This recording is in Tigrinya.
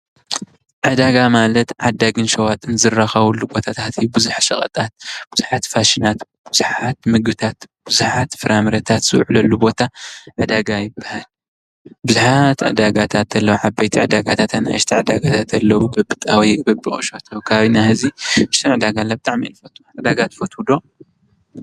ዕዳጋ ማለት ዓዳግን ሸዋጥን ዝራከብሉ ቦታታት እዩ። ቡዙሕ ሸቀጣት፣ ቡዙሓት ፋሽናት፣ ቡዙሓት ምግብታ፣ ቡዙሓት ፍራምረታትን ዝዉዕልሉ ቦታ ዕዳጋ ይብሃል። ቡዙሓት ዕዳጋታት ኣለዉ ። ዓበይቲ ዕዳጋታት፣ ኣናእሽቲ ዕዳጋታት ኣለዉ። በቢጣብይኡ፣ በቢቁሸቱ ኣብ ከባቢና ሕዚ ቡዙሕ ዕዳጋ ኣለዉ። ብጣዕሚ እየ ዝፈትዉ ዕዳጋ ትፈትዉ ዶ?